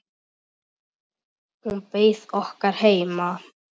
Hún beið okkar heima.